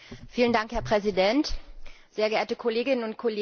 Herr Präsident, sehr geehrte Kolleginnen und Kollegen!